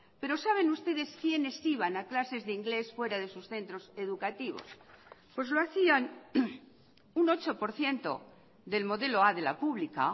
pero saben ustedes quienes iban a clases de inglés fuera de sus centros educativos pues lo hacían un ocho por ciento del modelo a de la pública